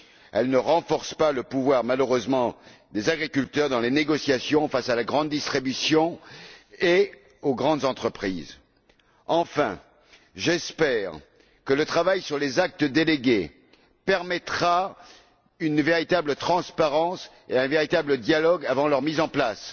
Elle ne renforce malheureusement pas le pouvoir des agriculteurs dans les négociations face à la grande distribution et aux grandes entreprises. Enfin, j'espère que le travail sur les actes délégués permettra une véritable transparence et un véritable dialogue avant leur mise en place.